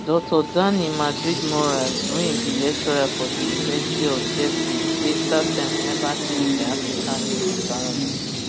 dr dani madridmorales wey be lecturer for di university of sheffield tk say startimes neva change di african news environment